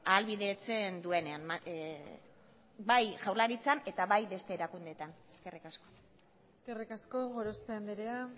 ahalbidetzen duenean bai jaurlaritzan eta bai beste erakundeetan eskerrik asko eskerrik asko gorospe andrea